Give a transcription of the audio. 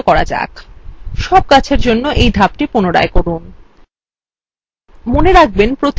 সব গাছের জন্য এই ধাপটি পুনরায় করুন